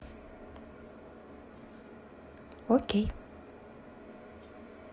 окей